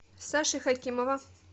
саши хакимова